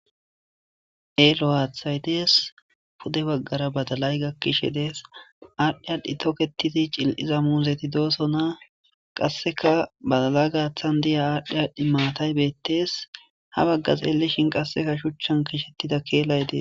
Elo aaththay dees pude baggara badalay gakkishe dees aadhdhi aadhdhi toketizi cil'iza muuzeti doosona qasseka badala gaaththan diya aadhdhi aadhdhi maatay bettees ha baggas elishin qasseka shuchchan kishettida keelay dee.